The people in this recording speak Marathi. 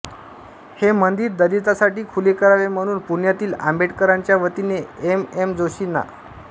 हे मंदिर दलितांसाठी खुले करावे म्हणून पुण्यातील आंबेडकरांच्या वतीने एम एम जोशी ना